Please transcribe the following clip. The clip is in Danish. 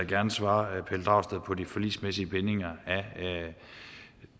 gerne svare pelle dragsted på de forligsmæssige bindinger af